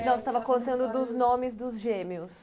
Não, você estava contando dos nomes dos gêmeos.